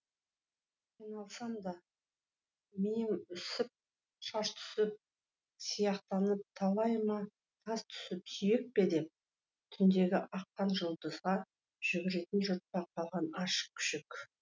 қиналсам да миым үсіп шаш түсіп сияқтанам талайыма тас түсіп сүйек пе деп түндегі аққан жұлдызға жүгіретін жұртта қалған аш күшік